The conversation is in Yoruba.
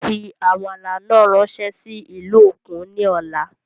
Fí àmàlà náà ráńsé sí ìlú òkun ní ọ̀la